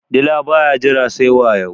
dila ba ya Jira sai wayo